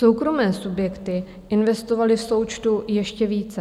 Soukromé subjekty investovaly v součtu ještě více.